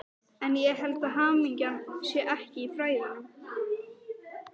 En ég held að hamingjan sé ekki í fræðunum.